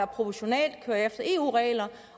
proportionalt kører efter eu regler